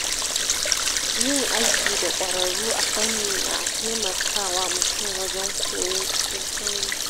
Yin aiki da ƙwararru a fanni na taimaka wa mutum wajen koyo cikin sauri.